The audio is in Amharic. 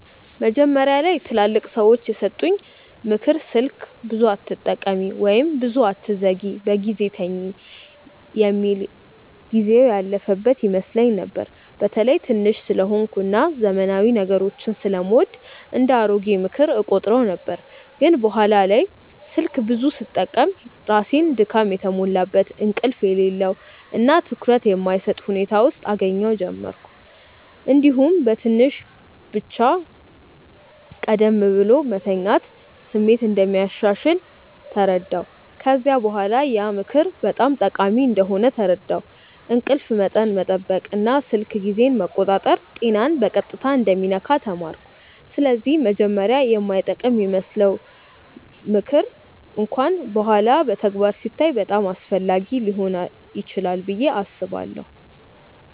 መጀመሪያ ላይ ትላልቅ ሰዎች የሰጡኝ “ምክር ስልክ ብዙ አትጠቀሚ” ወይም “ብዙ አትዘግይ በጊዜ ተኝ” የሚል ጊዜው ያለፈበት ይመስለኝ ነበር። በተለይ ትንሽ ስለሆንኩ እና ዘመናዊ ነገሮችን ስለምወድ እንደ “አሮጌ ምክር” እቆጥረው ነበር። ግን በኋላ በተለይ ስልክ ብዙ ስጠቀም ራሴን ድካም የተሞላበት፣ እንቅልፍ የሌለው እና ትኩረት የማይሰጥ ሁኔታ ውስጥ እገኛ ጀመርሁ። እንዲሁም በትንሽ ብቻ ቀደም ብሎ መተኛት ስሜት እንደሚያሻሽል ተረዳሁ። ከዚያ በኋላ ያ ምክር በጣም ጠቃሚ እንደሆነ ተረዳሁ፤ እንቅልፍ መጠን መጠበቅ እና ስልክ ጊዜን መቆጣጠር ጤናን በቀጥታ እንደሚነካ ተማርኩ። ስለዚህ መጀመሪያ የማይጠቅም ይመስለው ምክር እንኳን በኋላ በተግባር ሲታይ በጣም አስፈላጊ ሊሆን ይችላል ብዬ አስባለሁ።